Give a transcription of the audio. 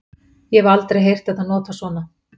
Ég hef aldrei heyrt þetta notað svona.